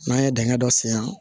N'an ye dingɛ dɔ sen yan